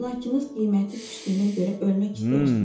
Əmlakınız qiyməti düşdüyünə görə ölmək istəyirsiniz?